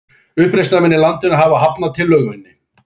Uppreisnarmenn í landinu hafa hafnað tillögunni